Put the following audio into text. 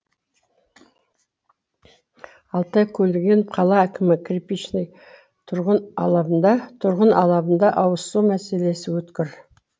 алтай көлгінов қала әкімі кирпичный тұрғын алабында ауызсу мәселесі өткір